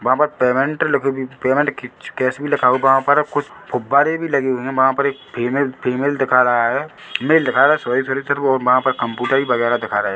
वहाँ पर पेमेंट लिख भी पेमेंट खिच कैश भी लिखा होगा वहाँ पर कुछ गुब्बारे भी लगे हुए है वहाँ पर एक फीमेल फीमेल दिखा रहा है मेल दिखा रहा है सॉरी फिर - फिर वो वहाँ पर कंप्यूटर ही वगैरह दिखा रहा हैं।